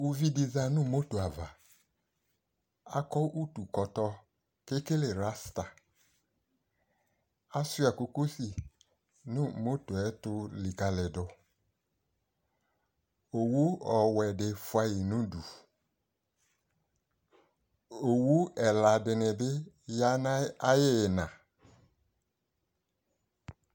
Uvidɩ za nʋ motoava, akɔ utukɔtɔ k'ekele rasta, asʋɩa kokosi nʋ motoe ayɛtʋ likǝlidʋ Owu ɔwɛdɩ fʋayɩ n'udu, owu ɛla dɩnɩ bɩ ya n'ayɩ ayɩyɩna